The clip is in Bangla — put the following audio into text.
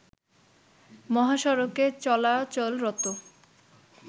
মহাসড়কে চলাচলরত